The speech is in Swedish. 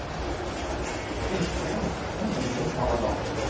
Sittplats är det inte tal om.